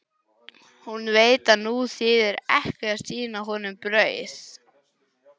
Hún veit að nú þýðir ekki að sýna honum brauð.